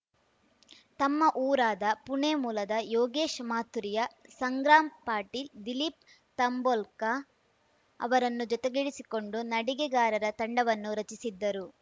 ತಮ್ಮ ಊರಾದ ಪುಣೆ ಮೂಲದ ಯೋಗೇಶ್‌ ಮಾಥುರಿಯಾ ಸಂಗ್ರಾಮ್‌ ಪಾಟೀಲ್‌ ದಿಲೀಪ್‌ ತಂಬೊಲ್ಕ ಅವರನ್ನು ಜೊತೆಗೂಡಿಸಿಕೊಂಡು ನಡಿಗೆಗಾರರ ತಂಡವನ್ನು ರಚಿಸಿದ್ದರು